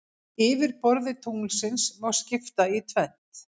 Yfirborði tunglsins má skipta í tvennt.